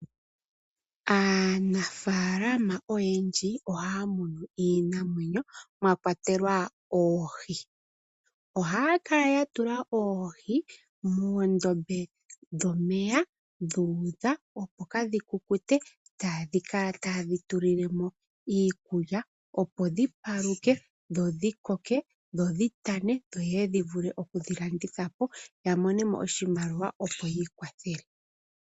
Aanafaalama oyendji ohaya munu iinamwenyo mwakwatelwa oohi, ohaya kala yatula oohi moondobe dhomeya dhuudha opo kaadhi kukute taakala taye dhi tulile mo iikukya opo dhi paluke ,dho dhi koke dho dhi tane dho dhi vule okulandithwa po yo ya mone mo oshimaliwa yi ikwathele.